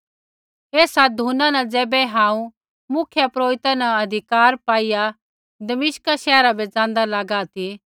एसा धुना न ज़ैबै हांऊँ मुख्यपुरोहिता न अधिकार पाईआ दमिश्का शैहरा बै ज़ाँदा लागा ती